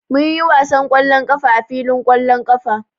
Mun yi wasan ƙwallon ƙafa a filin ƙwallon ƙafa.